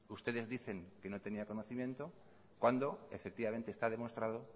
ustedes dicen que no tenían conocimiento cuando efectivamente está demostrado